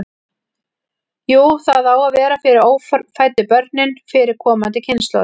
Jú, það á að vera fyrir ófæddu börnin, fyrir komandi kynslóðir.